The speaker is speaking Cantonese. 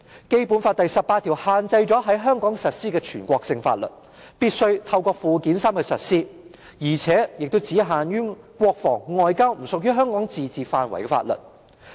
《基本法》第十八條限制了在香港實施的全國性法律，訂明必須透過附件三來實施，並只限於國防與外交等不屬香港自治範圍的法律。